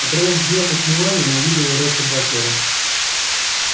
оторвав взгляд от мелани она увидела ретта батлера